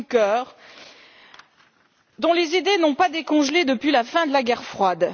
Juncker, dont les idées n'ont pas décongelé depuis la fin de la guerre froide.